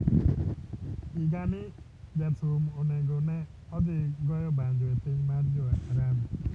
Higa ni Jathum onego ne odhi goyo banjo e piny mar Jo Arabu